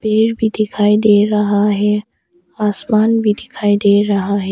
पेड़ भी दिखाई दे रहा है आसमान भी दिखाई दे रहा है।